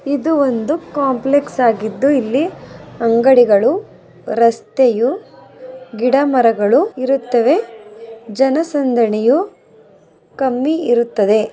ಇದು ಒಂದು ಕಾಂಪ್ಲೆಕ್ಸ್ ಆಗಿದ್ದು ಇಲ್ಲಿ ಅಂಗಡಿಗಳು ರಸ್ತೆಯು ಗಿಡಮರಗಳು ಇರುತ್ತವೆ ಜನಸಂದಣಿಯು ಕಮ್ಮಿ ಇರುತ್ತದೆ.